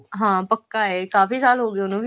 ਹਾਂ ਪੱਕਾ ਹੈ ਕਾਫੀ ਸਾਲ ਹੋ ਗਏ ਉਹਨੂੰ